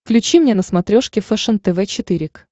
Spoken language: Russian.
включи мне на смотрешке фэшен тв четыре к